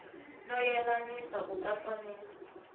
no yelanisa ku katsa ni